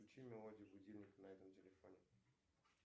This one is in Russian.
включи мелодию будильника на этом телефоне